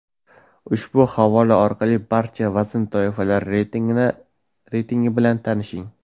Ushbu havola orqali barcha vazn toifalari reytingi bilan tanishing.